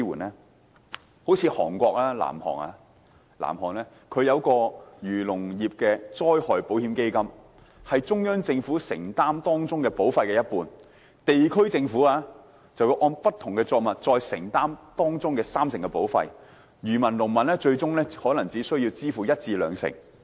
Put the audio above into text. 例如南韓就設立農林漁業災害保險制度，由中央政府承擔當中一半保費，地區政府再按不同作物承擔三成保費，漁民及農民最終可能只需支付一至兩成。